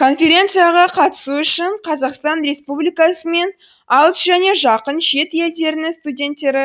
конференцияға қатысу үшін қазақстан республикасы мен алыс және жақын шет елдерінің студенттері